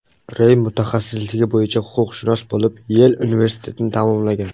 Rey mutaxassisligi bo‘yicha huquqshunos bo‘lib, Yel universitetini tamomlagan.